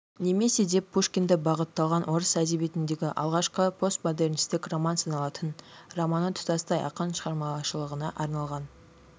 немесе деп пушкинді бағытталған орыс әдебиетіндегі алғашқы постмодернистік роман саналатын романы тұтастай ақын шығармашылығына арналған